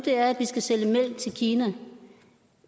er at vi skal sælge mælk til kina